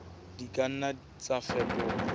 di ka nna tsa fetoha